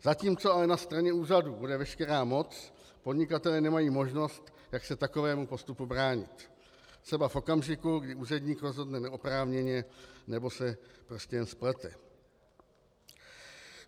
Zatímco ale na straně úřadu bude veškerá moc, podnikatelé nemají možnost, jak se takovému postupu bránit třeba v okamžiku, kdy úředník rozhodne neoprávněně nebo se prostě jen splete.